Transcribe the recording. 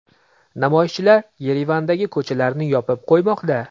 Namoyishchilar Yerevandagi ko‘chalarni yopib qo‘ymoqda.